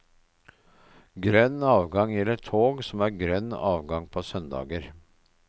Grønn avgang gjelder tog som har grønn avgang på søndager.